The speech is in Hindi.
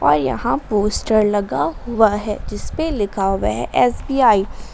और यहां पोस्टर लगा हुआ है जिस पे लिखा हुआ है एस_बी_आई ।